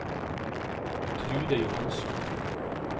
Trude Johansson